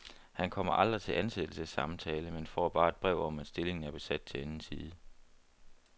Han kommer aldrig til ansættelsessamtale, men får bare et brev om, at stillingen er besat til anden side.